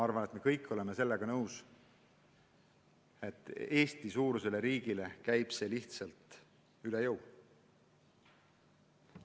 Küllap me kõik oleme nõus, et Eesti-suurusele riigile käib see lihtsalt üle jõu.